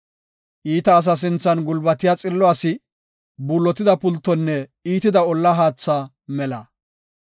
Iita asa sinthan gulbatiya xillo asi, buullotida pultonne iitida olla haatha mela.